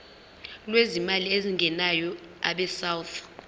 lwezimali ezingenayo abesouth